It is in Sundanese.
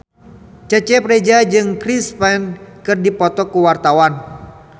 Cecep Reza jeung Chris Pane keur dipoto ku wartawan